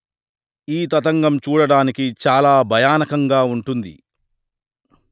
ఈ తతంగం చూడడానికి చాల భయానకంగా వుంటుంది